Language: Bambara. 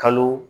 Kalo